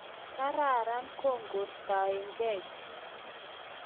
Kararan kokaistaenkeei chii